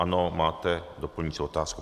Ano, máte doplňující otázku.